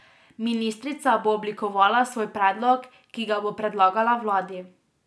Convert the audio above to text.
Ministrica bo oblikovala svoj predlog, ki ga bo predlagala vladi.